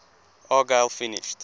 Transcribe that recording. argyle finished